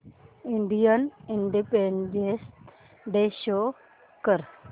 Indian Independence Day show कर